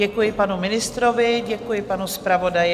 Děkuji panu ministrovi, děkuji panu zpravodaji.